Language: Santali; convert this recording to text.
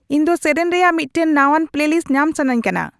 ᱤᱧ ᱫᱚ ᱥᱮᱹᱨᱮᱹᱧ ᱨᱮᱭᱟᱜ ᱢᱤᱫᱴᱟᱝ ᱱᱟᱶᱟᱱ ᱯᱮᱞᱮᱞᱤᱥᱴ ᱧᱟᱢ ᱥᱟᱱᱟᱧ ᱠᱟᱱᱟ